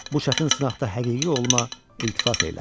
Bu çətin sınaqda həqiqi oğluna iltifat eylə.